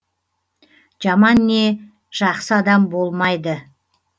жаман не жақсы адам болмайды